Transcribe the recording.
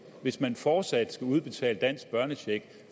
hvis man fortsat skal udbetale dansk børnecheck